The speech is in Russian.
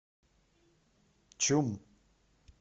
чум